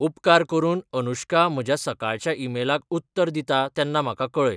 उपकार करून अनुश्का म्हज्या सकाळच्या ईमेलाक उत्तर दिता तेन्ना म्हाका कळय